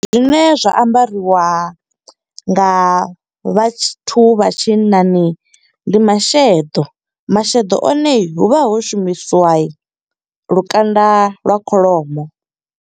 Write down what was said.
Zwine zwa ambariwa nga vhathu vha tshinnani, ndi masheḓo. Masheḓo one hu vha ho shumisiwa lukanda lwa kholomo.